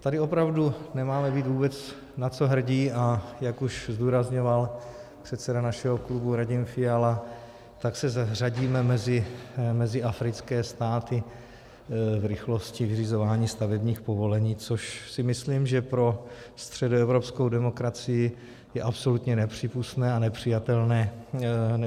Tady opravdu nemáme být vůbec na co hrdí, a jak už zdůrazňoval předseda našeho klubu Radim Fiala, tak se zařadíme mezi africké státy v rychlosti vyřizování stavebních povolení, což si myslím, že pro středoevropskou demokracii je absolutně nepřípustné a nepřijatelné místo.